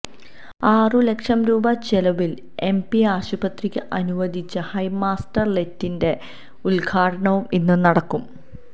ആറു ലക്ഷം രൂപ ചെലവില് എംപി ആശുപത്രിക്ക് അനുവദിച്ച ഹൈമാസ്റ്റ് ലൈറ്റിന്റെ ഉദ്ഘാടനവും ഇന്നു നടക്കും